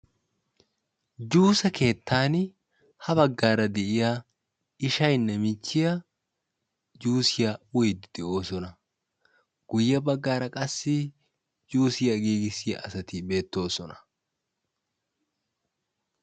Juuse keettan ha baggaara de'iyaa ishshayinne michchiyaa juusiyaa uyiidi de'oosona. guye baggaara qassi juusiyaa giigissiyaa asati beettoosona.